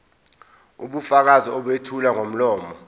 ubufakazi obethulwa ngomlomo